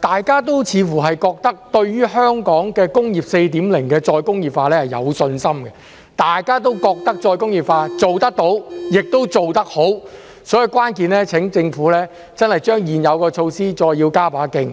大家都似乎認為，對於香港的"工業 4.0" 的再工業化是有信心的，大家都認為再工業化是做得到，也做得好的，所以，關鍵是請政府真的把現有措施再加把勁。